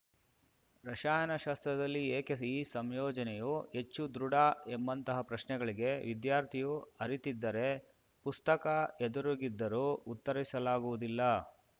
ರಸಾಯನಶಾಸ್ತ್ರದಲ್ಲಿ ಏಕೆ ಈ ಸಂಯೋಜನೆಯು ಹೆಚ್ಚು ದೃಢ ಎಂಬಂತಹ ಪ್ರಶ್ನೆಗಳಿಗೆ ವಿದ್ಯಾರ್ಥಿಯು ಅರಿತಿರದಿದ್ದರೆ ಪುಸ್ತಕ ಎದುರಿಗಿದ್ದರೂ ಉತ್ತರಿಸಲಾಗುವುದಿಲ್ಲ